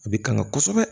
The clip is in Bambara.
A bɛ kanga kosɛbɛ